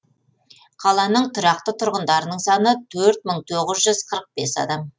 қаланың тұрақты тұрғындарының саны төрт мың тоғыз жүз қырық бес адамды